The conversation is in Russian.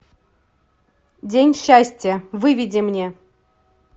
день счастья выведи мне